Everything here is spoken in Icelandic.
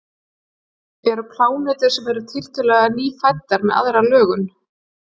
Eru plánetur sem eru tiltölulega nýfæddar með aðra lögun?